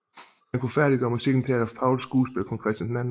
Han kunne færdiggøre musikken til Adolf Pauls skuespil Kong Christian II